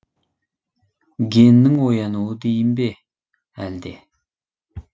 геннің оянуы дейін бе әлде